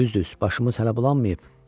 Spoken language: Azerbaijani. Düz-düz, başımız hələ bulanmayıb.